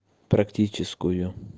практическую